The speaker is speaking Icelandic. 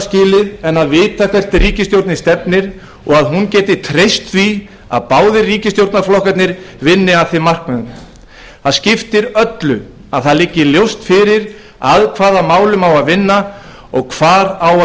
skilið en að vita hvert ríkisstjórnin stefnir og að hún geti treyst því að báðir ríkisstjórnarflokkarnir vinni að þeim markmiðum það er afar mikilvægt að það liggi ljóst fyrir að hvaða málum á að vinna og hvar á að